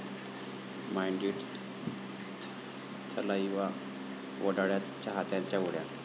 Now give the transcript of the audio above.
mind इट...थलाइवा वडाळ्यात!, चाहत्यांच्या उड्या...